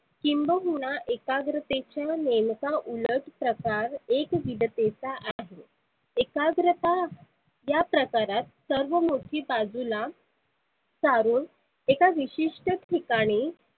किंबहुना एकाग्रतेच्या नेमका उलट प्रकार एकविधतेचा आहे. एकाग्रता या प्रकारात सर्व मुर्ती बाजुला सारुन एका विशिष्ठ ठिकाणी